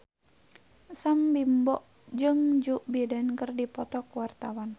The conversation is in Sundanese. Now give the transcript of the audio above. Sam Bimbo jeung Joe Biden keur dipoto ku wartawan